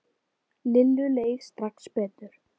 Lillu leið strax betur.